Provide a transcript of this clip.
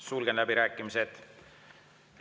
Sulgen läbirääkimised.